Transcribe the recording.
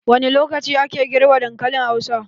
Wani lokaci ake girbe dankalin hausa?.